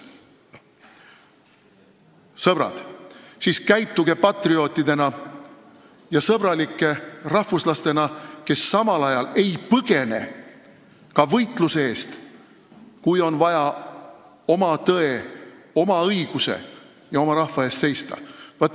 Sõbrad, käituge siis patriootidena ja sõbralike rahvuslastena, kes samal ajal ei põgene ka võitluse eest, kui on vaja oma tõe, oma õiguse ja oma rahva eest seista.